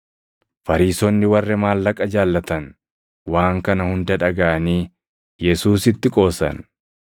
Fariisonni warri maallaqa jaallatan waan kana hunda dhagaʼanii Yesuusitti qoosan.